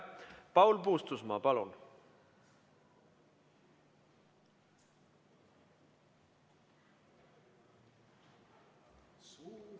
Paul Puustusmaa, palun!